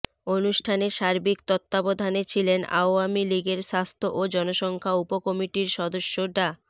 অনুষ্ঠানে সার্বিক তত্ত্বাবধানে ছিলেন আওয়ামী লীগের স্বাস্থ্য ও জনসংখ্যা উপকমিটির সদস্য ডা